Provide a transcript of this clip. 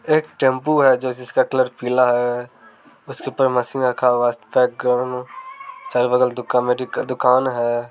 एक टैम्पू है जे जिसका कलर पीला है उसके ऊपर मशीन रखा हुआ है चारों बगल दुका मेडिकल दुकान है।